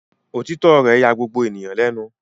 Òtítọ́ rẹ̀ ya gbogbo ènìyàn lẹ́nu.